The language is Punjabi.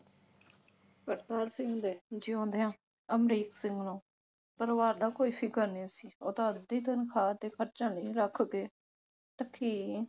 ਕਰਤਾਰ ਸਿੰਘ ਦੇ ਜਿਉਦਿਆਂ ਅਮਰੀਕ ਸਿੰਘ ਨੂੰ ਪਰਿਵਾਰ ਦਾ ਕੋਈ ਫਿਕਰ ਨਹੀਂ ਸੀ ਉਹ ਤਾਂ ਅੱਧੀ ਤਨਖਾਹ ਤੇ ਰੱਖ ਕੇ